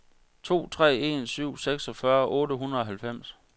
to tre en syv seksogfyrre otte hundrede og halvfems